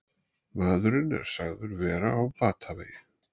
Maðurinn er sagður vera á batavegi